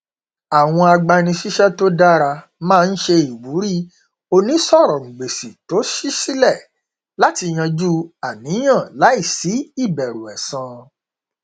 àwọn agbanisíṣẹ tó dára máa n ṣe ìwúrí onísọrọngbèsì tó ṣí sílẹ láti yanjú àníyàn láìsí ìbẹrù ẹsan